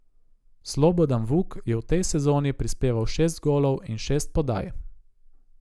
Slobodan Vuk je v tej sezoni prispeval šest golov in šest podaj.